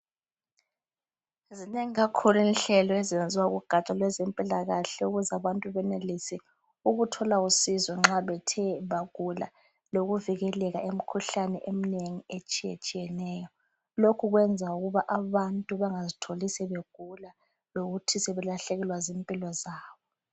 Zinengi kakhulu inhlelo ezenziwa kugatsha kwezempilakahle ukuze abantu benelise ukuthola usizo nxa bethe bagula lokuvikeleka emkhuhlaneni etshiyetshiyeneyo lokhu kwenza ukuthi abantu bangazitholi sebegula lokuthi sebelahlekelwa zimpilo zabo.